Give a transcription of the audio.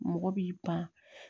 Mɔgɔ b'i ban